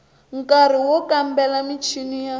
nkari wo kambela michini ya